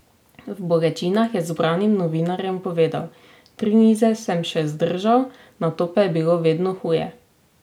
V bolečinah je zbranim novinarjem povedal: "Tri nize sem še zdržal, nato pa je bilo vedno huje.